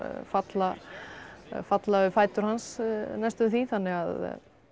falla falla við fætur hans næstum því þannig að